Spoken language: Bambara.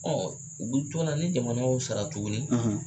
o bɛ cogo min na ni jamana y'o sara tuguni